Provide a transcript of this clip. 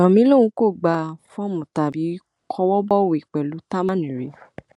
yomi lòun kò gba fọọmù tàbí kọwọ bọwé pẹlú támán rí